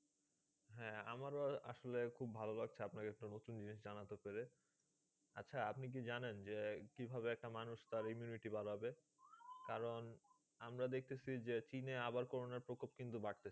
হ্যাঁ আমারও আসলে খুব ভালো লাগছে আপনাকে একটা নতুন জিনিস জানাতে পেরে। আচ্ছা আপনি কি জানেন? যে কীভাবে একটা মানুষ তার immunity বাড়াবে? কারন আমরা দেখতেছি যে, চিনে আবার করোনার প্রকোপ কিন্তু বাড়তাছে।